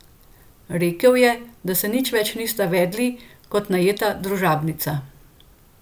Rekel je, da se nič več niste vedli kot najeta družabnica.